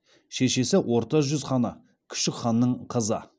шешесі орта жүз ханы күшік ханның қызы